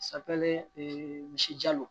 Safinɛ misi jalo